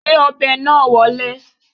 Gbé ọbẹ̀ náà wọlé